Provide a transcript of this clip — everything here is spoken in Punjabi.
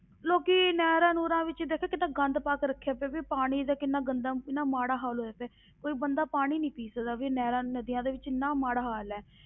ਲੋਕੀ ਨਹਿਰਾਂ ਨੂਹਰਾਂ ਵਿੱਚ ਦੇਖ ਕਿੱਦਾਂ ਗੰਦ ਪਾ ਕੇ ਰੱਖਿਆ ਪਿਆ, ਵੀ ਪਾਣੀ ਦਾ ਕਿੰਨਾ ਗੰਦਾ ਇੰਨਾ ਮਾੜਾ ਹਾਲ ਹੋਇਆ ਪਿਆ ਕੋਈ ਬੰਦਾ ਪਾਣੀ ਨੀ ਪੀ ਸਕਦਾ ਵੀ ਨਹਿਰਾਂ ਨਦੀਆਂ ਦੇ ਵਿੱਚ ਇੰਨਾ ਮਾੜਾ ਹਾਲ ਹੈ।